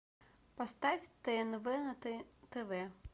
поставь тнв на тв